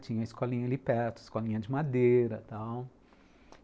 Tinha escolinha ali perto, escolinha de madeira e tal.